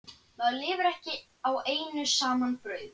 Maðurinn lifir ekki á einu saman brauði.